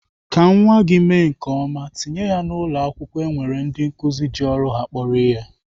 Ka nwa gị mee nke ọma, tinye ya na ụlọakwụkwọ nwere ndị nkụzi ji ọrụ ha kporo ihe.